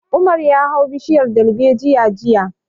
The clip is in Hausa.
Umar ya hau bishiyar dalbejiya jiya